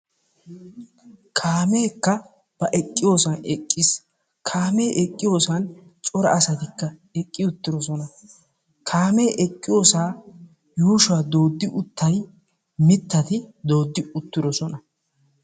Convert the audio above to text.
Kaamekka ba eqqiyosan eqqiis. Kaame eqqiyossan cora asatikka eqqi uttidosona. Kaame eqqiyiyossa yuushuwa dooddi uttay mittati dooddi uttidosona.